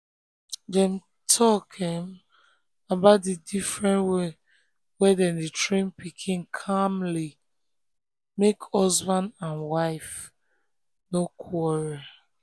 dem talk um about the different way dem dey train pikin calmly make husband um and husband um and wife no quarrel. um